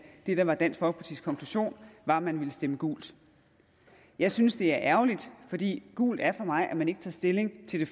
det der var dansk folkepartis konklusion var at man ville stemme gult jeg synes det er ærgerligt fordi gult er for mig at man ikke tager stilling til det